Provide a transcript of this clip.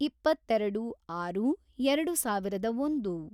ಇಪ್ಪತ್ತೆರೆಡು, ಆರು, ಎರೆಡು ಸಾವಿರದ ಒಂದು